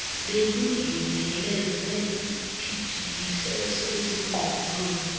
beluzungeleze ipgds ezingqondweni